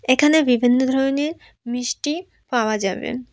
এখানে বিভিন্ন ধরনের মিষ্টি পাওয়া যাবে।